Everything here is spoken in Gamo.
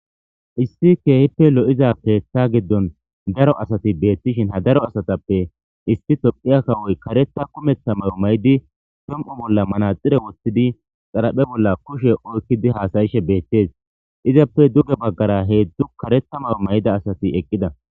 Issi keehippe lo7iza keeththa giddon daro asati beethtishin ha daro asatappe isti tophiya kawoy kareta kumeththa mawo maydi som7u bolla manaxire woththidi xaraphe bolla kushe oykkidi haasayishe beettees. Izappe duge baggara heedzdu karetha mawu mayda asati eqqida.